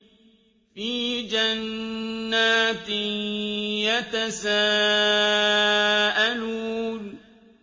فِي جَنَّاتٍ يَتَسَاءَلُونَ